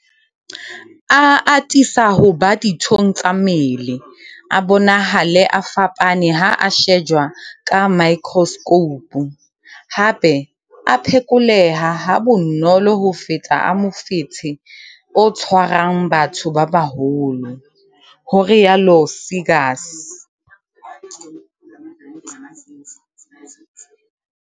A atisa ho ba dithong tsa mmele, a bonahale a fapane ha a shejwa ka maekroskhoupu, hape a phekoleha ha bonolo ho feta a mofetshe o tshwarang batho ba baholo, ho rialo Seegers.